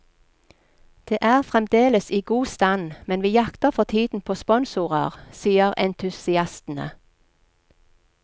Det er fremdeles i god stand, men vi jakter for tiden på sponsorer, sier entusiastene.